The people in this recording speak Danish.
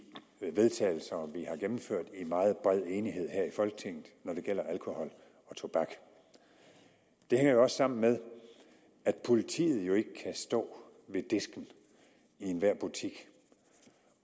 har gennemført i meget bred enighed her i folketinget når det gælder alkohol og tobak det hænger også sammen med at politiet jo ikke kan stå ved disken i enhver butik